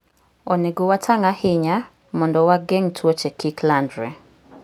Onego watang' ahinya mondo wageng' tuoche kik landre.